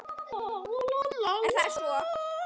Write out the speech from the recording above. En er það svo.